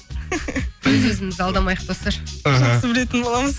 өз өзімізді алдамайық достар іхі жақсы білетін боламыз